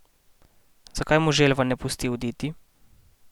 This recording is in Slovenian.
Zakaj mu želva ne pusti oditi?